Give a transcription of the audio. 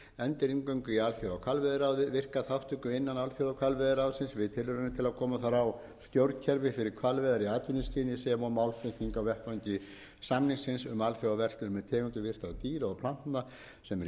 endurinngöngu í alþjóðahvalveiðiráðið virka þátttöku innan alþjóðahvalveiðiráðsins við tilraunir til að koma þar á stjórnkerfi fyrir hvalveiðar í atvinnuskyni sem og málflutning á vettvangi samningsins um alþjóðaverslun með tegundir villtra dýra og plantna sem eru í